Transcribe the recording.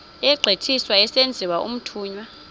egqithiswa esenziwa umthunywa